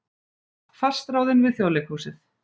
Fastráðin við Þjóðleikhúsið